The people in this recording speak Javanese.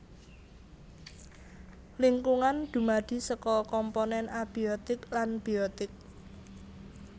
Lingkungan dumadi saka komponèn abiotik lan biotik